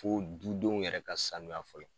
Fo dudenw yɛrɛ ka sanu fɔlɔ